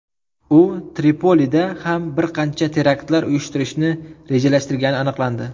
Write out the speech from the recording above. U Tripolida ham bir qancha teraktlar uyushtirishni rejalashtirgani aniqlandi.